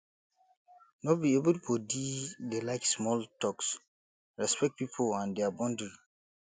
no be everybodi dey like small talks respect pipo and their boundry